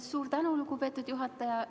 Suur tänu, lugupeetud juhataja!